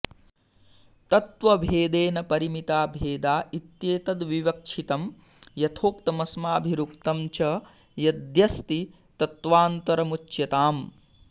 तत्त्वभेदेन परिमिता भेदा इत्येतद्विवक्षितं यथोक्तमस्माभिरुक्तं च यद्यस्ति तत्त्वान्तरमुच्यताम्